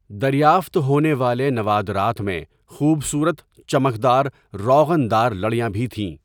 دریافت ہونے والے نوادرات میں خوبصورت چمکدار روغن دار لڑیاں بھی تھیں۔